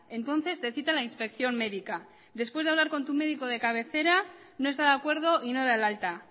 entonces te cita la inspección médica después de hablar con tu medico de cabecera no está de acuerdo y no da el alta